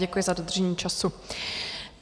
Děkuji za dodržení času.